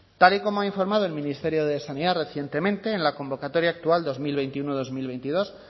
tal y como ha informado el ministerio de sanidad recientemente en la convocatoria actual dos mil veintiuno dos mil veintidós